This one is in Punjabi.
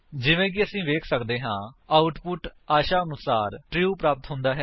ਜਿਵੇਂ ਕਿ ਅਸੀ ਵੇਖ ਸੱਕਦੇ ਹਾਂ ਆਉਟਪੁਟ ਆਸ਼ਾਨੁਰੂਪ ਟਰੂ ਪ੍ਰਾਪਤ ਹੁੰਦਾ ਹੈ